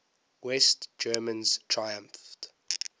west germans triumphed